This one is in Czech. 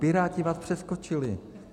Piráti vás přeskočili.